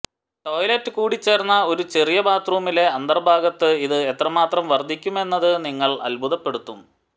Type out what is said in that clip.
toilet കൂടിച്ചേർന്ന ഒരു ചെറിയ ബാത്റൂമിലെ അന്തർഭാഗത്ത് ഇത് എത്രമാത്രം വർദ്ധിക്കുമെന്നത് നിങ്ങൾ അത്ഭുതപ്പെടുത്തും